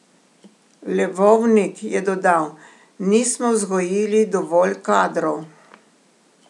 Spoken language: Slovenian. Levovnik je dodal: "Nismo vzgojili dovolj kadrov.